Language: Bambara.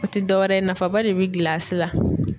O te dɔ wɛrɛ ye nafaba de be gilasi la.